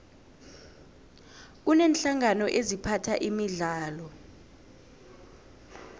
kuneenhlangano eziphatha imidlalo